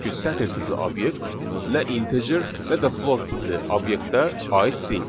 Çünki sətr tipli obyekt nə integer, nə də float tipli obyektə aid deyil.